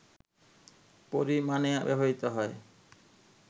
পরিমাণে ব্যবহৃত হয়